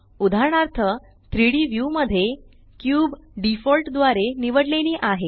उदाहरणार्थ 3डी व्यू मध्ये क्यूब डिफॉल्ट द्वारे निवडलेली आहे